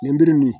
Nɛnbiri min